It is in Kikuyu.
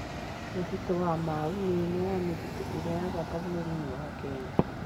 Mũtitũ wa Mau nĩ ũmwe wa mĩtitũ ĩrĩa ya bata bũrũri-inĩ wa Kenya.